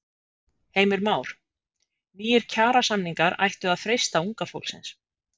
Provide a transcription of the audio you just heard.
Heimir Már: Nýir kjarasamningar ættu að freista unga fólksins?